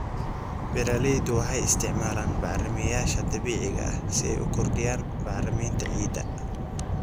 Beeraleydu waxay isticmaalaan bacrimiyeyaasha dabiiciga ah si ay u kordhiyaan bacriminta ciidda.